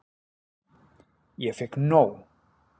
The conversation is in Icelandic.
Ég fékk nóg.